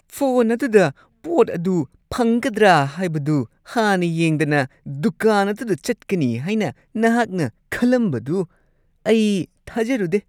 Phone ꯑꯗꯨꯗ ꯄꯣꯠ ꯑꯗꯨ ꯐꯪꯒꯗ꯭ꯔꯥ ꯍꯥꯏꯕꯗꯨ ꯍꯥꯟꯅ ꯌꯦꯡꯗꯅ ꯗꯨꯀꯥꯟ ꯑꯗꯨꯗ ꯆꯠꯀꯅꯤ ꯍꯥꯏꯅ ꯅꯍꯥꯛꯅ ꯈꯜꯂꯝꯕꯗꯨ ꯑꯩ ꯊꯥꯖꯔꯨꯗꯦ ꯫